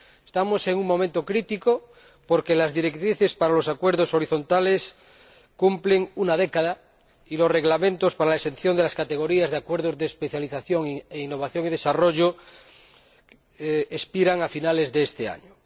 Estamos en un momento crítico porque las directrices para los acuerdos horizontales cumplen una década y los reglamentos para la exención de las categorías de acuerdos de especialización e innovación y desarrollo expiran a finales de este año.